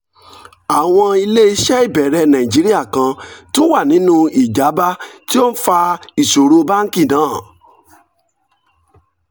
àwọn ilé iṣẹ́ ìbẹ̀rẹ̀ nàìjíríà kan tún wà nínú ìjábá tó ń fa ìṣòro báńkì náà